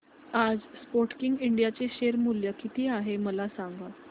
आज Sportking India चे share मूल्य किती आहे मला सांगा